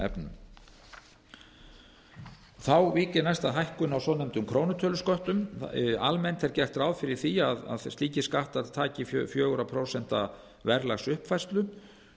vík ég næst að hækkun á svonefndum krónutölusköttum almennt er gert ráð fyrir því að slíkir skattar taki fjögur prósent verðlagsuppfærslu